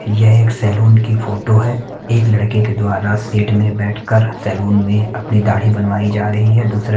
यह एक सैलून की फोटो है एक लड़के के द्वारा सीट में बैठ कर सैलून में अपनी दाढ़ी बनवाई जा रही है दूसरे--